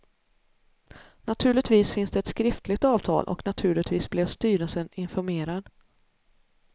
Naturligtvis finns det ett skriftligt avtal och naturligtvis blev styrelsen informerad.